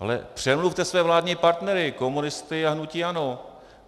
Ale přemluvte své vládní partnery - komunisty a hnutí ANO.